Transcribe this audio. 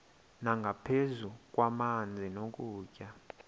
nangaphezu kwamanzi nokutya